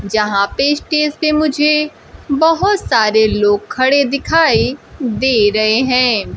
यहां पे स्टेज पे मुझे बहुत सारे लोग खड़े दिखाई दे रहे हैं।